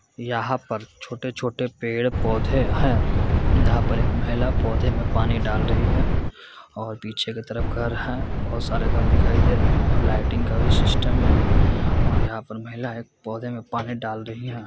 यहां पर छोटे-छोटे पेड़-पौधे हैं यहां पर एक महिला पौधे में पानी डाल रही हैं और पीछे की तरफ घर हैं बहुत सारे घर दिखाई दे रहे हैं और लाइटिंग का भी सिस्टम है| और यहां पर महिला एक पौधे में पानी डाल रही है।